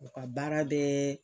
O ka baara bɛ